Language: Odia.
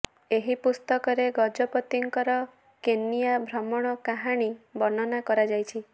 ଏହି ପୁସ୍ତକରେ ଗଜପତିଙ୍କର କେନିୟା ଭ୍ରମଣ କାହାଣୀ ବର୍ଣ୍ଣନା କରାଯାଇଛି